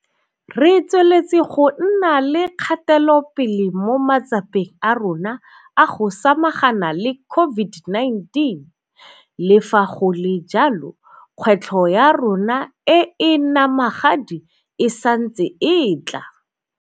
Re tsweletse go nna le kgatelopele mo matsapeng a rona a go samagana le COVID-19, le fa go le jalo, kgwetlho ya rona e e namagadi e santse e tla.